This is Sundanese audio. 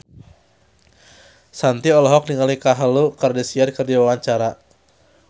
Shanti olohok ningali Khloe Kardashian keur diwawancara